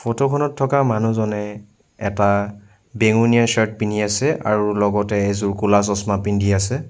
Photo খনত থকা মানুহজনে এটা বেঙুনীয়া শ্বাৰ্ট পিন্ধি আছে আৰু লগতে এযোৰ ক'লা চছ্মা পিন্ধি আছে।